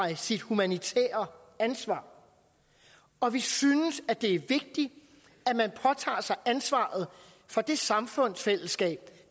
sit humanitære ansvar og vi synes det er vigtigt at man påtager sig ansvaret for det samfundsfællesskab